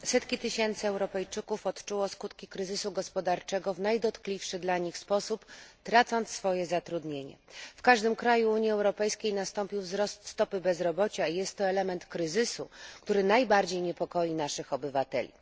Pani przewodnicząca! Setki tysięcy Europejczyków odczuło skutki kryzysu gospodarczego w najdotkliwszy dla nich sposób, tracąc swoje zatrudnienie. W każdym kraju Unii Europejskiej nastąpił wzrost stopy bezrobocia i jest to element kryzysu, który najbardziej niepokoi naszych obywateli.